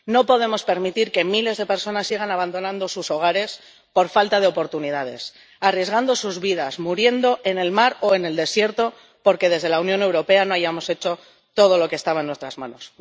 No podemos permitir que miles de personas sigan abandonando sus hogares por falta de oportunidades, arriesgando sus vidas, muriendo en el mar o en el desierto, porque desde la Unión Europea no hayamos hecho todo lo que estaba en nuestras manos.